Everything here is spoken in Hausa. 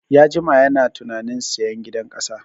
Ya jima yana tunanin sayan gidan ƙasa